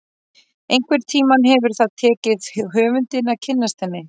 Einhvern tíma hefur það tekið höfundinn að kynnast henni.